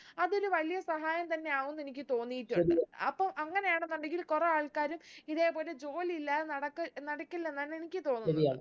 അതൊരു വലിയ സഹായം തന്നെ ആകും എന്ന് എനിക്ക് തോന്നീട്ടുണ്ട് അപ്പം അങ്ങനെയാണെന്നുണ്ടെങ്കിൽ കുറേ ആൾക്കാര് ഇതേ പോലെ ജോലി ഇല്ലാതെ നടക്കി നടക്കില്ലെന്നാണ് എനിക്ക് തോന്നുന്നത്